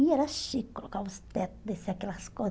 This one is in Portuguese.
E era chique, colocava os tetos, descia aquelas